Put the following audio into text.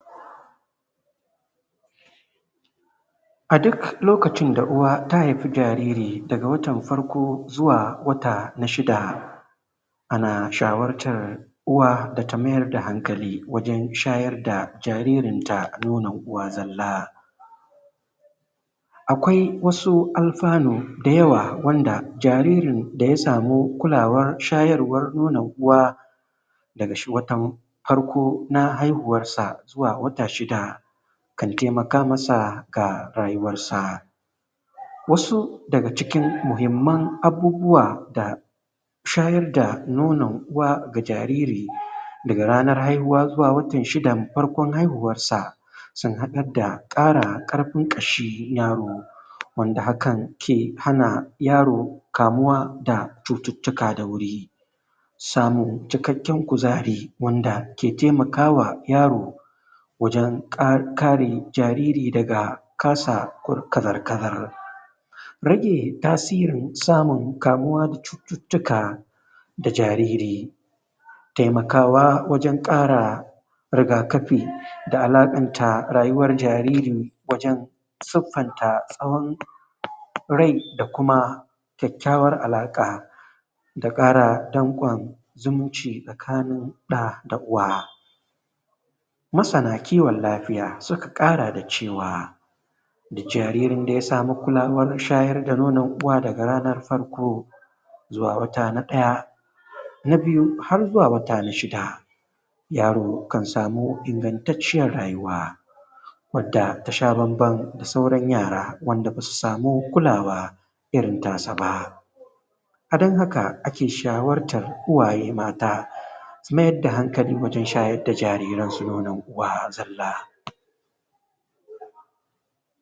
A duk lokacin da uwa ta haifi jariri daga watan farko zuwa zuwa wata na shida, ana shawartan uwa da ta mayar da hankali wajen shayar da jaririn ta nonon uwa zalla. Akwai wasu alfanu da yawa wanda jaririn da ya samu kulawar shayarwan nonon uwa daga watan farko na haihuwarsa zuwa wata shida, kan taimaka masa ga rayuwarsa. Wasu daga cikin muhimman abubuwa da shayar da nonon uwa ga jariri daga ranar haihuwa zuwa watan shidan farkon haihuwarsa, sun haɗar da ƙarin ƙarfin ƙashin yaro, wanda hakan ke hana yaro kamuwa da cututtuka da wuri, samun cikakken kuzari da ke taimawa yaro wajen kare jariri daga kasa kazar kazar. Rage tasirin samun kamuwa da cututtuka da jariri. Taimakawa wajen kara rigakafi da alaƙanta rayuwan jariri wajen siffanta tsawon rai da kuma kuma kyakkyawan alaƙa, da ƙara danƙon zumunci tsakanin ɗa da uwa. Masan kiwon lafiya suka ƙara da cewa duk jaririn da ya samu kulawar shayar da nonon uwa daga ranar farko zuwa wata na ɗaya na biyuhar zuwa na shida, yaro kan samu ingantacciyar rayuwa wadda ta sha bamban da sauran yara wand aba su samu kulawa irin ta sa ba. A don haka ake shawartan iyaye mata su mayar da hankali wajen shayar da jariransu nonon uwa uwa zalla.